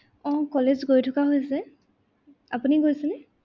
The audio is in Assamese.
আহ college গৈ থকা হৈছে, আপুনি গৈছেনে?